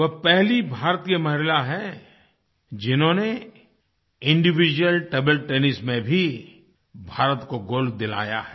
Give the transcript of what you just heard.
वह पहली भारतीय महिला है जिन्होंने इंडिविड्यूअल टेबल टेनिस में भारत को गोल्ड दिलाया है